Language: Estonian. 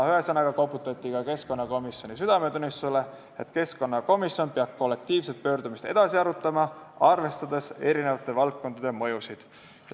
Ühesõnaga, koputati ka keskkonnakomisjoni südametunnistusele, et keskkonnakomisjon peab kollektiivset pöördumist edasi arutama, arvestades mõjusid eri valdkondades.